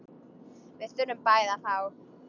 Við þurfum bæði að fá.